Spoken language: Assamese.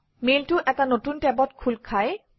মেইলটো এটা নতুন টেবত খোল খায়